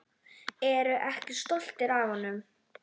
Ertu ekki stoltur af honum?